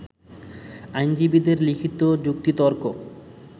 আইনজীবীদের লিখিত যুক্তিতর্ক